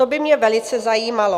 To by mě velice zajímalo.